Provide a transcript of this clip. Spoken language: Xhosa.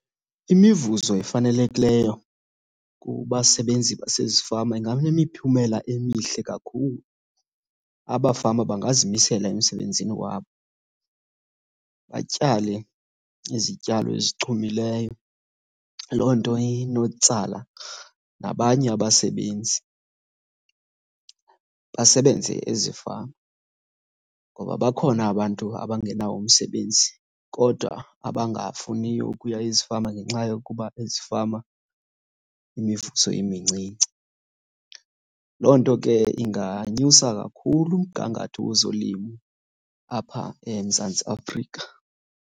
Imivuzo efanelekileyo kubasebenzi basezifama inganemiphumela emihle kakhulu. Abafama bangazimisela emsebenzini wabo, batyale izityalo ezichumileyo. Loo nto inotsala nabanye abasebenzi basebenze ezifama, ngoba bakhona abantu abangenawo umsebenzi kodwa abangafuniyo ukuya ezifama ngenxa yokuba ezifama imivuzo imincinci. Loo nto ke inganyusa kakhulu umgangatho wezolimo apha eMzantsi Afrika.